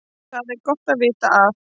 Það er gott að vita að